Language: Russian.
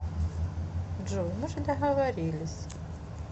джой мы же договорились